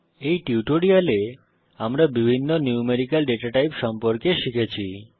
এই টিউটোরিয়ালে আমরা বিভিন্ন ন্যূমেরিকাল ডেটা টাইপ সম্পর্কে শিখেছি